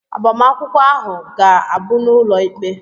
Agbamakwụkwọ ahụ ga-abụ n'ụlọ ikpe?